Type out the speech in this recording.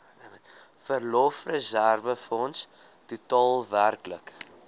verlofreserwefonds totaal werklik